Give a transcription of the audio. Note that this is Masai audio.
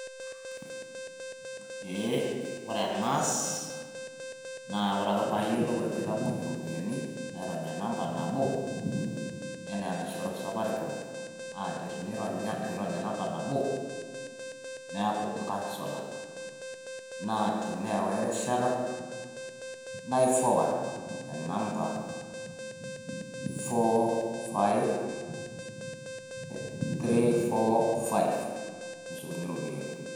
Eeeh ore enaas naa ore ake pee ayiolou ajo aitapong`oyie irropiyiani nairony e namba nabo enaa enaishoru safaricom naa tenirony enamba nabo niaku inkasola. Naa teneewa erishata nai forward enamba four five, three four five neshukunyie rropiyiani.